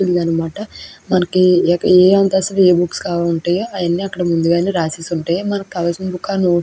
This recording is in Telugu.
అనమాట మనకి ఏ అంతస్థు లో ఏ బుక్స్ కావాలంటే అవన్నీ ముందెయే రాసేసి ఉంటాయి మనకి కావాల్సిన బుక్స్ --